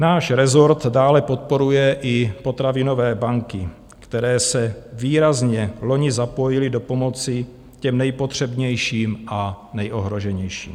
Náš rezort dále podporuje i potravinové banky, které se výrazně loni zapojily do pomoci těm nejpotřebnějším a nejohroženějším.